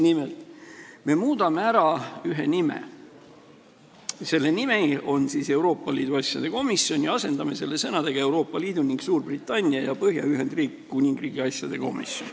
Nimelt, me muudame ära ühe nime – see nimi on Euroopa Liidu asjade komisjon – ja asendame selle nimega Euroopa Liidu ning Suurbritannia ja Põhja-Iiri Ühendkuningriigi asjade komisjon.